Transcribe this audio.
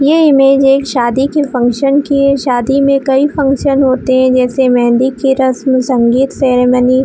ये इमेज एक शादी की फंक्शन की है शादी में कई फंक्शन होते है जैसे की मेहंदी की रस्म संगीत सेरेमनी --